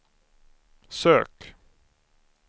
sök